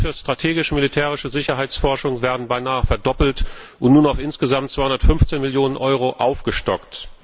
Die Ausgaben für strategisch militärische Sicherheitsforschung werden beinahe verdoppelt und nun auf insgesamt 215 Millionen Euro aufgestockt.